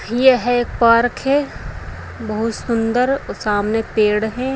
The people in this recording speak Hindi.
यह है एक पार्क है बहुत सुंदर व सामने पेड़ है।